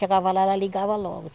Chegava lá, ela ligava logo.